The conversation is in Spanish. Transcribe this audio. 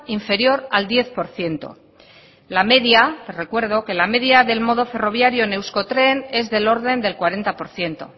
inferior al diez por ciento la media le recuerdo que la media del modo ferroviario en euskotren es del orden del cuarenta por ciento